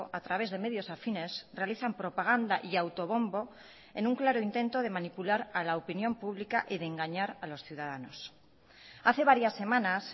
a través de medios afines realizan propaganda y auto bombo en un claro intento de manipular a la opinión pública y de engañar a los ciudadanos hace varias semanas